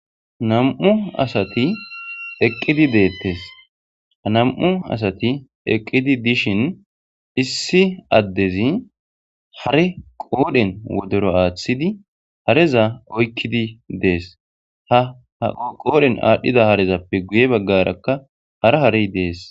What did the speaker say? Nam'u asati eqqidi deettes anam'u asati eqqidi dishin issi addezi hare qoodhen wodero aaththidi hareza oykkidi dees ha ha qoodhen aadhdhida harezappe guye baggarakka hara harey dees